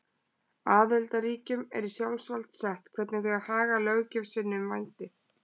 Aðildarríkjunum er í sjálfsvald sett hvernig þau haga löggjöf sinni um vændi.